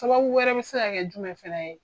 Sababu wɛrɛ be se ka kɛ jumɛn fɛnɛ ye?